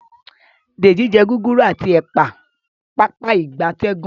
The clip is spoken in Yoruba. Deji jé Gúgúrú ati ẹpa Pápá ìgbatẹ́gùn